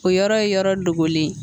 O yɔrɔ ye yɔrɔ dogolen ye